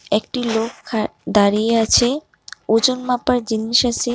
একটি লোক খা দাঁড়িয়ে আছে ওজন মাপার জিনিস আসে।